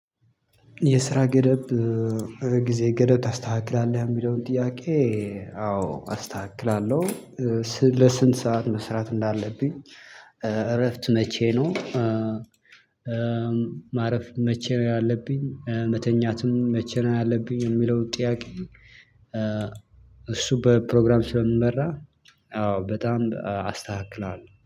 የስራ ገደብ ጊዜ ገደብ ታስተካክላለህ የሚለውን ጥያቄ? አዎ አስተካክላለሁ። ለስንት ሰዓት መስራት እንዳለብኝ እረፍት መቼ ነው። ማረፍ መቼ ነው ያለብኝ መተኛትም መቼ ነው ያለብኝ የሚለው ጥያቄ? እሱ በፕሮግራም ስለምመራ አዎ በጣም አስተካክላለው